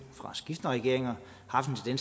fra skiftende regeringer har haft en